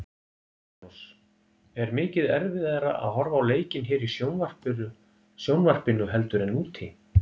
Magnús: Er mikið erfiðara að horfa á leikinn hér í sjónvarpinu heldur en úti?